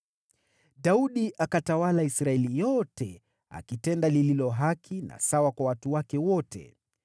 Daudi akatawala Israeli yote, akitenda lililo haki na sawa kwa watu wake wote.